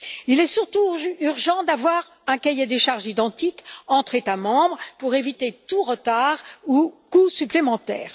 Il est surtout urgent d'avoir un cahier des charges identique entre États membres pour éviter tout retard ou coût supplémentaire.